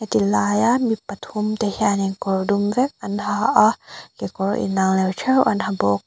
ti laia mi pathum te hianin kawr dum vek an ha a kekawr in anglo theuh an ha bawk.